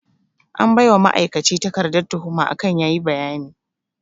An baiwa ma'aikaci takarda tuhuma akan yayi bayani